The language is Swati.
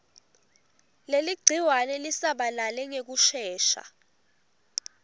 leligciwane lisabalale ngekushesha